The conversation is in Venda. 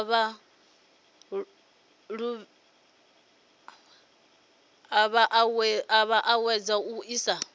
a vha ṱuṱuwedza u isa